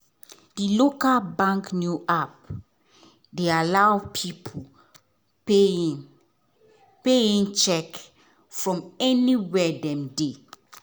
di local bank new app dey allow people pay in pay in cheque from anywhere dem dey.